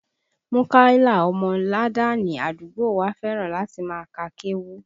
Múkàílà ọmọ làdáánì àdúgbò wa fẹ́ràn láti máa ka kéwú